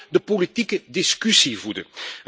Ze moet ook de politieke discussie voeden.